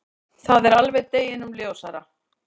Það er alveg deginum ljósara.